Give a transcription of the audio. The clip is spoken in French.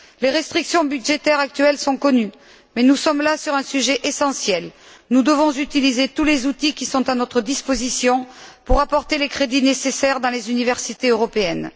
Les restrictions budgétaires actuelles sont connues mais il s'agit là d'un sujet essentiel. Nous devons utiliser tous les outils qui sont à notre disposition pour apporter les crédits nécessaires dans les universités européennes.